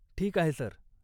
ठीक आहे, सर.